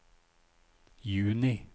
juni